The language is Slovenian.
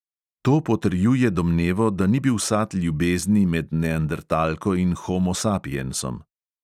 To potrjuje domnevo, da ni bil sad ljubezni med neandertalko in homo sapiensom.